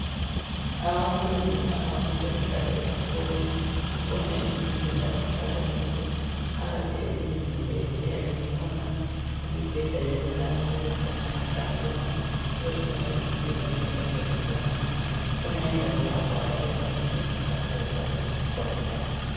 Abafundi abafunda behlala esikolo kukhona izindlu abahlala kuzo phakathi ezindlini lezi kuyabe kukhona imbeda yokulala kube khona amatafula kube khona izitulo njalo ezokuhlala kukhona indawo lapho ababeka khona izicathulo zabo zokugqoka